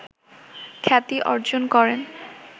খ্যাতি অর্জন করেন